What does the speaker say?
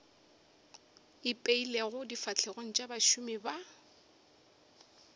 ipeilego difahlegong tša bašomi ba